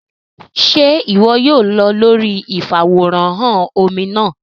Ṣe iwọ yóò lọ lórí ifaworanhan omí náà?